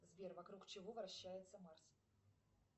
сбер вокруг чего вращается марс